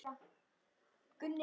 Og Júlía man.